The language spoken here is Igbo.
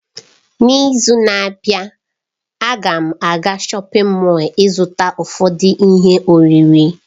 N'izu na-abịa, a ga m aga shọpin Mọll ịzụta ụfọdụ ihe oriri.